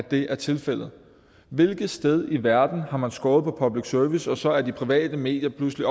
det er tilfældet hvilket sted i verden har man skåret på public service og så er de private medier pludselig